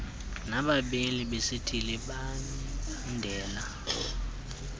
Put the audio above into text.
nabameli besithili bemibandela